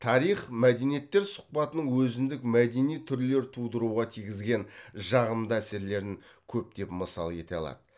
тарих мәдениеттер сұхбатының өзіндік мәдени түрлер тудыруға тигізген жағымды әсерлерін көптеп мысал ете алады